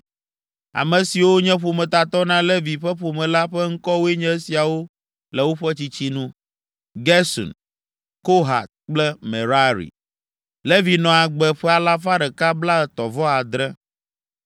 Ame siwo nye ƒometatɔ na Levi ƒe ƒome la ƒe ŋkɔwoe nye esiawo le woƒe tsitsi nu. Gerson, Kohat kple Merari. Levi nɔ agbe ƒe alafa ɖeka blaetɔ̃-vɔ-adre (137).